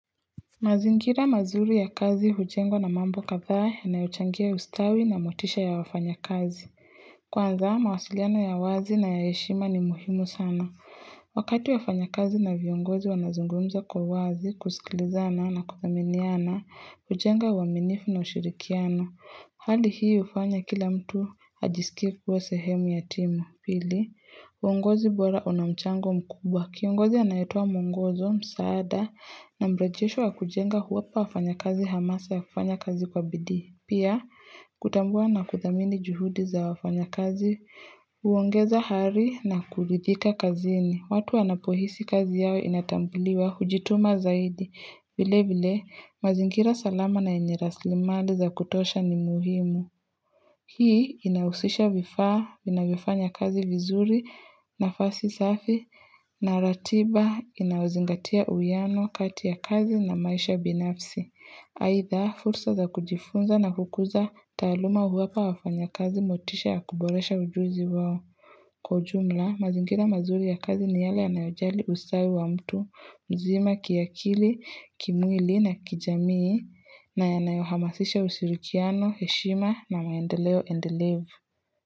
Mazingira mazuri ya kazi hujengwa na mambo kadhaa yanayochangia ustawi na motisha ya wafanyakazi. Kwanza mawasiliano ya wazi na ya heshima ni muhimu sana. Wakati ya wafanyakazi na viongozi wanazungumza kwa wazi, kusikilizana na kuthaminiana, hujenga uaminifu na ushirikiano. Hali hii hufanya kila mtu ajisikie kuwa sehemu ya timu. Pili, uongozi bora una mchango mkubwa. Kiongozi anayetoa mwongozo, msaada, na mrejesho wa kujenga huwapa wafanyakazi hamasa ya kufanya kazi kwa bidi. Pia, kutambua na kuthamini juhudi za wafanyakazi, uongeza hari na kuridhika kazini. Watu wanapohisi kazi yao inatambuliwa, hujituma zaidi. Vile vile, mazingira salama na yenye rasilimali za kutosha ni muhimu. Hii inahusisha vifaa, vinavyofanya kazi vizuri nafasi safi na ratiba inayozingatia uiano kati ya kazi na maisha binafsi. Haitha, fursa za kujifunza na kukuza taaluma huwapa wafanyakazi motisha ya kuboresha ujuzi wao. Kwa ujumla, mazingira mazuri ya kazi ni yale yanayojali usawi wa mtu, mzima kiakili, kimwli na kijamii na yanayohamasisha usirikiano, heshima na maendeleo endelevu.